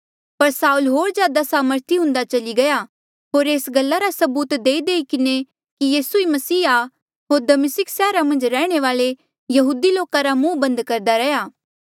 पर साऊल होर ज्यादा सामर्थी हुन्दा चली गया होर एस गल्ला रा सबूत देईदेई किन्हें कि यीसू ई मसीह आ होर दमिस्का सैहरा मन्झ रैहणे वाले यहूदी लोका रा मुहं बंद करदा रैहया